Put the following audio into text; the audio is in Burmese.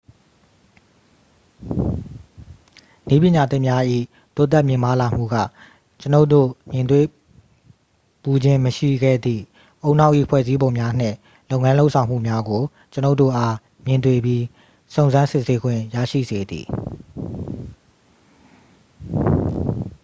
နည်းပညာသစ်များ၏ တိုးတက်မြင့်မားလာမှုက ကျွန်ုပ်တို့ မြင်တွေ့ဖူးခြင်းမရှိခဲ့သည့် ဦးနှောက်၏ ဖွဲ့စည်းပုံများနှင့် လုပ်ငန်းလုပ်ဆောင်မှုများကို ကျွန်ုပ်တို့အား မြင်တွေ့ပြီး စုံစမ်းစစ်ဆေးခွင့်ရရှိစေသည်